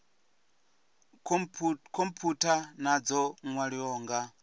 khomphutha na dzo nwaliwaho nga